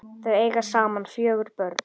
Þau eiga saman fjögur börn.